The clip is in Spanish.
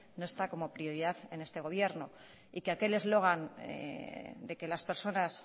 no está como prioridad en este gobierno y que aquel eslogan de que las personas